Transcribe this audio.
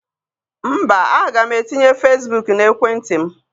Mba, aga m etinye Fesbuk n'ekwentị m.